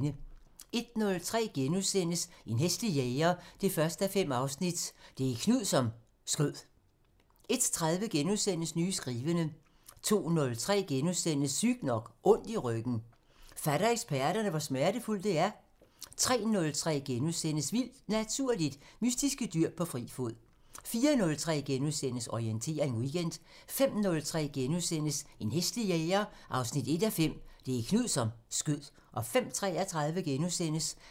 01:03: En hæslig jæger 1:5 – Det er Knud, som skød * 01:30: Nye skrivende * 02:03: Sygt nok: Ondt i ryggen – fatter eksperterne, hvor smertefuldt det er? * 03:03: Vildt Naturligt: Mystiske dyr på fri fod * 04:03: Orientering Weekend * 05:03: En hæslig jæger 1:5 – Det er Knud, som skød * 05:33: